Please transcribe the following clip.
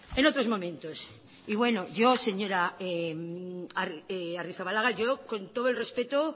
en otros momentos yo señora arrizabalaga yo con todo el respeto